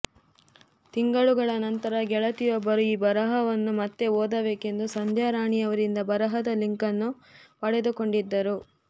ತಿಂಗಳುಗಳ ನಂತರ ಗೆಳತಿಯೋಬ್ಬರು ಈ ಬರಹವನ್ನು ಮತ್ತೆ ಓದಬೇಕೆಂದು ಸಂಧ್ಯಾರಾಣಿಯವರಿಂದ ಬರಹದ ಲಿಂಕನ್ನು ಪಡೆದುಕೊಂಡಿದ್ದರು